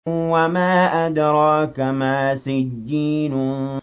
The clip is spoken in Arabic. وَمَا أَدْرَاكَ مَا سِجِّينٌ